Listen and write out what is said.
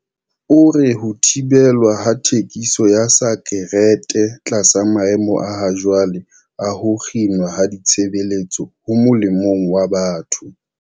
O re ho thibelwa ha thekiso ya sakerete tlasa maemo a hajwale a ho kginwa ha ditshebeletso ho molemong wa batho.